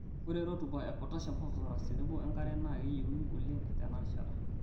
Ore rutuba e potassium, phosphorus tenebo enkare naa keyieunoi oleng' tena rishata.